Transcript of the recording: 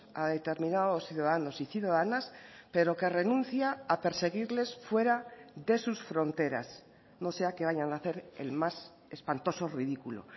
a determinados ciudadanos y ciudadanas pero que renuncia a perseguirles fuera de sus fronteras no sea que vayan a hacer el más espantoso ridículo